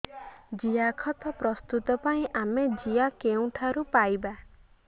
ଜିଆଖତ ପ୍ରସ୍ତୁତ ପାଇଁ ଆମେ ଜିଆ କେଉଁଠାରୁ ପାଈବା